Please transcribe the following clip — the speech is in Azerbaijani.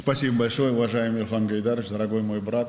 Çox sağ olun, hörmətli İlham Heydər oğlu, əziz qardaşım.